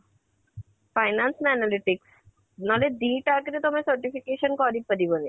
finance ନା analytics ନହେଲେ ଦି ଟା ଯାକ ରେ ତମେ certification କରି ପାରିବନି